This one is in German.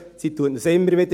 Sie sagt uns immer wieder: